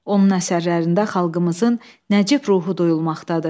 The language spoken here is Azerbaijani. Onun əsərlərində xalqımızın nəcib ruhu duyulmaqdadır.